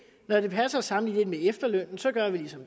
når det passer med at sammenligne med efterlønnen så gør man